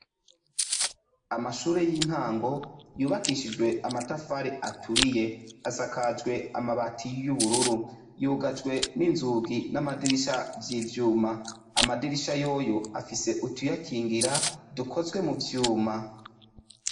Amashuri y'intango yubakishijwe amatafari aturiye. Asakajwe amabati y'ubururu. Yugajwe n' inzugi n'amadirisha vy'ivyuma. Amadirisha yoyo afise utuyakingira dukozwe mu vyuma .